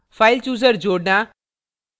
file chooser जोड़ना